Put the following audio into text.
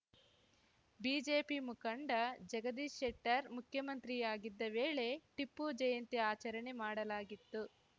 BJP ಮುಖಂಡ ಜಗದೀಶ್‌ ಶೆಟ್ಟರ್‌ ಮುಖ್ಯಮಂತ್ರಿಯಾಗಿದ್ದ ವೇಳೆ ಟಿಪ್ಪು ಜಯಂತಿ ಆಚರಣೆ ಮಾಡಲಾಗಿತ್ತು